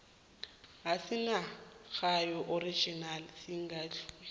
esingakagaywa original singadluli